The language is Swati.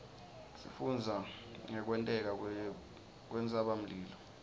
sifundza ngekwenteka kwentsabamlilo